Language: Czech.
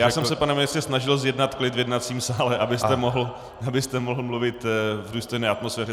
Já jsem se, pane ministře, snažil zjednat klid v jednacím sále, abyste mohl mluvit v důstojné atmosféře.